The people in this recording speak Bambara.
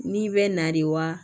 N'i bɛ na de wa